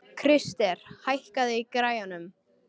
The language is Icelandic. Krister, hækkaðu í græjunum.